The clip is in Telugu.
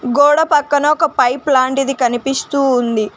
గోడ పక్కన ఒక పైప్ లాంటిది కనిపిస్తూ ఉంది.